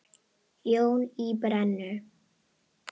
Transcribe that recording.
Jón í Brennu.